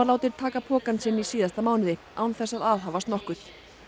látinn taka pokann sinn í síðasta mánuði án þess að aðhafast nokkuð